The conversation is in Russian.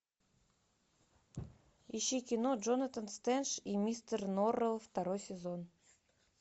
ищи кино джонатан стрендж и мистер норрелл второй сезон